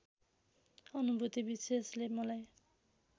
अनुभूति विशेषले मलाई